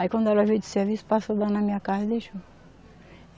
Aí quando ela veio do serviço, passou lá na minha casa e deixou.